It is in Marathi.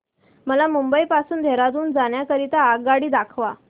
मला मुंबई पासून देहारादून जाण्या करीता आगगाडी दाखवा